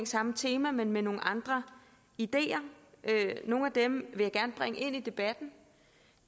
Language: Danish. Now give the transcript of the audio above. samme tema men med nogle andre ideer nogle af dem vil jeg bringe ind i debatten